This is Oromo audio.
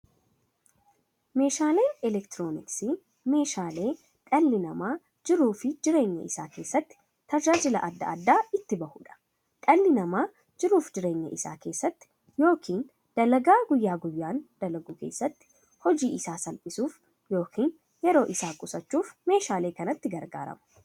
Meeshaaleen elektirooniksii meeshaalee dhalli namaa jiruuf jireenya isaa keessatti, tajaajila adda addaa itti bahuudha. Dhalli namaa jiruuf jireenya isaa keessatti yookiin dalagaa guyyaa guyyaan dalagu keessatti, hojii isaa salphissuuf yookiin yeroo isaa qusachuuf meeshaalee kanatti gargaarama.